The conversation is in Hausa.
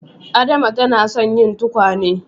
Adama ta na son yin tukwane